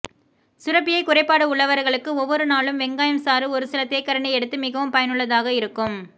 சுரப்பியை குறைபாடு உள்ளவர்களுக்கு ஒவ்வொரு நாளும் வெங்காயம் சாறு ஒரு சில தேக்கரண்டி எடுத்து மிகவும் பயனுள்ளதாக இருக்கும்